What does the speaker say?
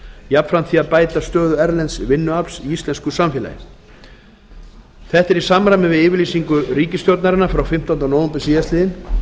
jafnframt því að bæta stöðu erlends vinnuafls í íslensku samfélagi er þetta í samræmi við yfirlýsingu ríkisstjórnarinnar frá fimmtándu nóv síðastliðinn